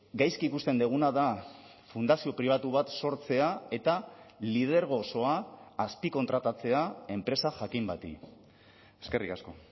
gaizki ikusten duguna da fundazio pribatu bat sortzea eta lidergo osoa azpikontratatzea enpresa jakin bati eskerrik asko